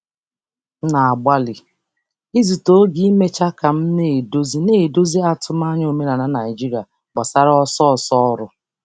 Ana um m agbalị igbochi oge ọrụ ka m na-ahazi atụmanya omenala Naịjirịa banyere ọsọ ọrụ.